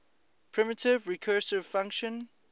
primitive recursive function